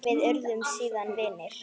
Við urðum síðan vinir.